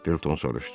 Felton soruşdu.